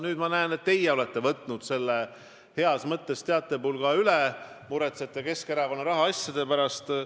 Nüüd ma näen, et teie olete võtnud heas mõttes selle teatepulga üle ja muretsete Keskerakonna rahaasjade pärast.